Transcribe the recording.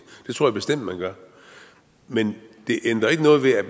det tror jeg bestemt man gør men det ændrer ikke noget ved at